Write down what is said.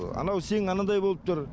анау сең анандай болып тұр